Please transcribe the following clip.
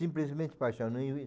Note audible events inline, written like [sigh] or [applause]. Simplesmente paixão. [unintelligible]